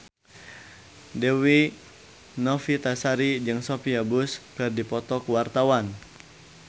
Dewi Novitasari jeung Sophia Bush keur dipoto ku wartawan